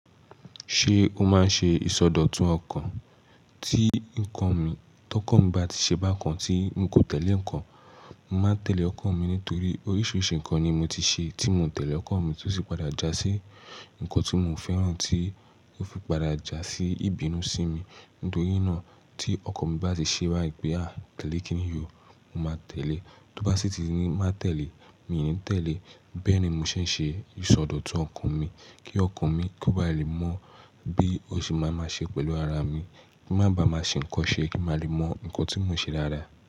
Ṣé o máa ń ṣe ìsọdọ̀tun ọkàn? Tí nǹkan mi, tọkan mi bá ti ṣe bá kan tí n kò tẹ̀lé ǹkan, mo máa ń tẹ̀lé ọkan mi nítorí oríṣiríṣi ǹkan ni mo ti ṣe tí mo ń tẹ̀lé ọkọ mi tó sì padà jásí ǹkan tí mo fẹ́ràn tí ó fi padà jásí ìbínú sí mi. Nítorí náà tí ọkọ mi bá ti ṣe báyi pe a tẹ̀lé kíni yió, mo máa tẹ̀lé. Tó bá sì ti ní má tẹ̀lé, mi ò ní tẹ̀lé. Bẹ́ẹ̀ni mo ṣe ń ṣe ìsọdọ̀tun ọkùn mi kí ọkùn mi kó ba lè mọ bí ó ṣe máa máa ṣe pẹ̀lú ara mi. Kí má ba máa ṣe ǹkan ṣe, kín ma lè mọ ǹkan tí mò ń ṣe dáadáa.